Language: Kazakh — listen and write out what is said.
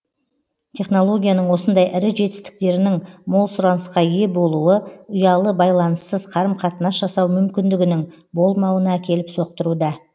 технологияның осындай ірі жетістіктерінің мол сұранысқа ие болуы ұялы байланыссыз қарым қатынас жасау мүмкіндігінің болмауына әкеліп соқтыруда